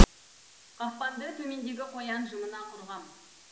қақпанды төмендегі қоян жымына құрғам